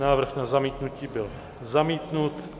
Návrh na zamítnutí byl zamítnut.